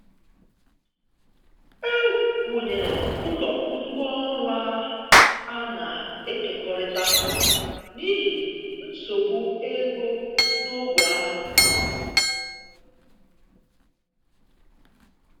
E wụnyere ụlọ ngwá ọrụ a na-ekekọrịta n’ihi nsogbu ego n’ógbè ahụ.